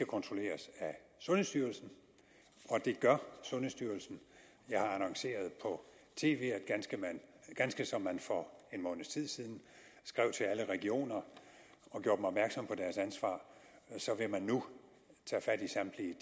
kontrolleres af sundhedsstyrelsen og det gør sundhedsstyrelsen jeg har annonceret på tv at ganske ligesom man for en måneds tid siden skrev til alle regioner og gjorde dem opmærksom på deres ansvar så vil man nu tage fat i samtlige